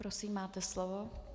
Prosím, máte slovo.